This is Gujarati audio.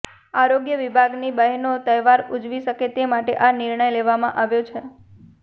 આરોગ્ય વિભાગની બહેનો તહેવાર ઉજવી શકે તે માટે આ નિર્ણય લેવામાં આવ્યો છે